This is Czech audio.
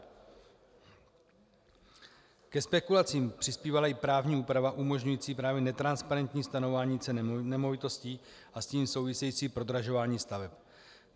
Ke spekulacím přispívala i právní úprava umožňující právě netransparentní stanovování ceny nemovitostí a s tím související prodražování staveb.